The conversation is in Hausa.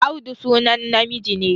Audu sunan namiji ne